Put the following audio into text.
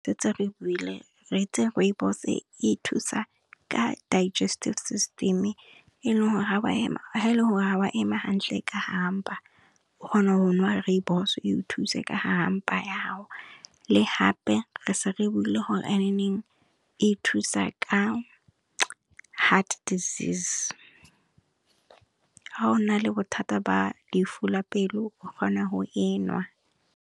Setse re buile, re itse Rooibos e thusa ka digestive system e e leng gore ga wa ema hantle ka hare ha mpa, o kgona go nwa Rooibos e thuse ka hare ha mpa ya hao. Le hape re se re buile gore ha thusa ka heart desease ha o na le bothata ba lefu la pelo o kgona go e nwa.